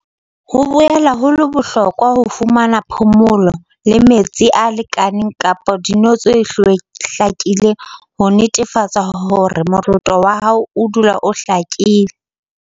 "Ho boela ho le bohlokwa ho fumana phomolo le metsi a lekaneng kapa dino tse hlakileng ho netefatsa hore moroto wa hao odula o hlakile."